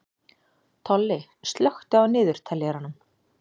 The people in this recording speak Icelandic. Tolli, slökktu á niðurteljaranum.